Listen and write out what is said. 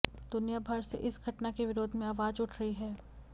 दुनिया भर से इस घटना के विरोध में आवाज उठ रही है